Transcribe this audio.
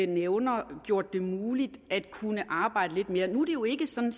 nævner gjort det muligt at kunne arbejde lidt mere nu er det jo ikke sådan